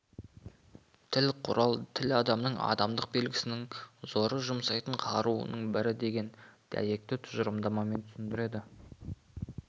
тіл құрал тіл адамның адамдық белгісінің зоры жұмсайтын қаруының бірі деген дәйекті тұжырымдармен түсіндіреді